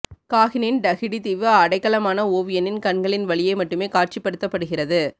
காகினின் Tahiti தீவு அடைக்கலமான ஒவியனின் கண்களின் வழியே மட்டுமே காட்சிப்படுத்தபடுகிறது